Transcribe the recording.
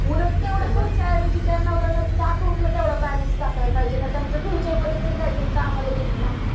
उलट तेव्हडं खर्च त्याऐवजी त्या नवरा नवरीचे अकाउंटला तेवढा बॅलंस टाकायला पाहिजे नाही त्यांच्या फ्युचरमध्ये काही तरी कामाला येईल ना